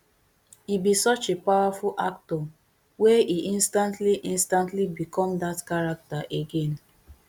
e be such a powerful actor wey e instantly instantly become dat character again